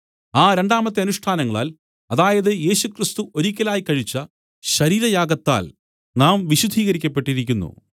ആ രണ്ടാമത്തെ അനുഷ്ഠാനങ്ങളാൽ അതായത് യേശുക്രിസ്തു ഒരിക്കലായി കഴിച്ച ശരീരയാഗത്താൽ നാം വിശുദ്ധീകരിക്കപ്പെട്ടിരിക്കുന്നു